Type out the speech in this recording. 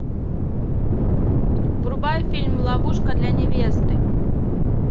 врубай фильм ловушка для невесты